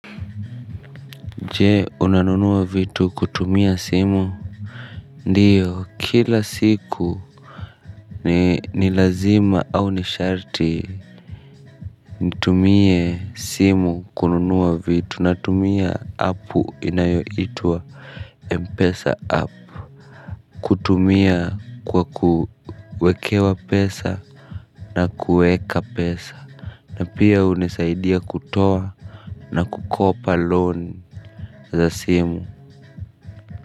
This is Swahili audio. Je, unanunua vitu kutumia simu? Ndiyo kila siku ni ni lazima au ni sharti nitumie simu kununua vitu natumia app inayoitwa mpesa app kutumia kwa kuwekewa pesa na kuweka pesa na pia hunisaidia kutoa na kukopa loni za simu.